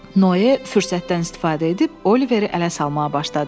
Noye fürsətdən istifadə edib Oliveri ələ salmağa başladı.